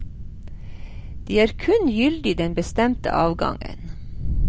De er kun gyldig den bestemte avgangen.